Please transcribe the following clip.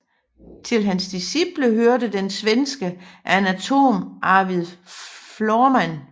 Til hans disciple hørte den svenske anatom Arvid Florman